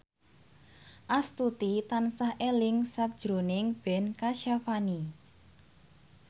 Astuti tansah eling sakjroning Ben Kasyafani